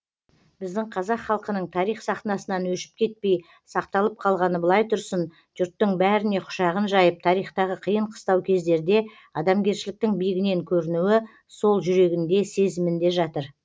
біздің қазақ халқының тарих сахнасынан өшіп кетпей сақталып қалғаны былай тұрсын жұрттың бәріне құшағын жайып тарихтағы қиын қыстау кездерде адамгершіліктің биігінен көрінуі сол жүрегінде сезімінде жатыр